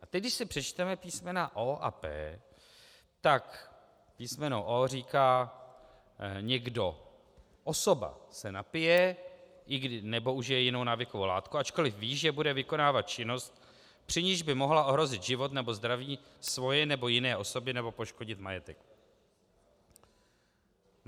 A teď když si přečteme písmena o) a p), tak písmeno o) říká: někdo, osoba se napije nebo užije jinou návykovou látku, ačkoliv ví, že bude vykonávat činnost, při níž by mohla ohrozit život nebo zdraví svoje nebo jiné osoby nebo poškodit majetek.